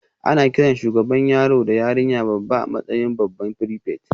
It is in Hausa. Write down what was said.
Ana kiran shugaban yaro da yarinya babba a matsayin babban prefect